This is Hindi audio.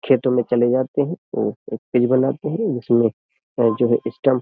खेतो में चले जाते है हैं औ बनाते हैं जिसमें ऐ जो है स्टम्प --